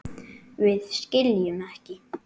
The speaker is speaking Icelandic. Við skiljum ekki.